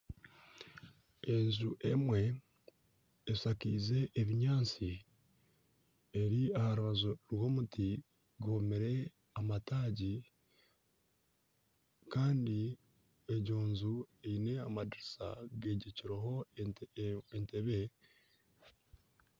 Enju emwe eshakize ebinyaatsi eri aha rubaju rw'omuti gwomire amataagi kandi egyo nju eriho amadiriisa gegyekireho entebbe.